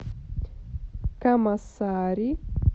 камасари